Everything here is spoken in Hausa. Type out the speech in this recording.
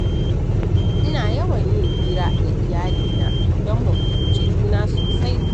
Ina yawan yin hira da iyalina don mu fahimci juna sosai